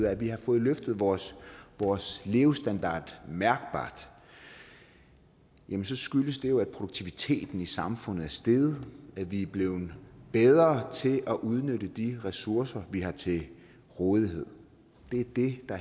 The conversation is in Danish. at vi har fået løftet vores vores levestandard mærkbart skyldes jo at produktiviteten i samfundet er steget at vi er blevet bedre til at udnytte de ressourcer vi har til rådighed det er det der